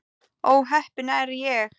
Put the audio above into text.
Ó heppin er ég.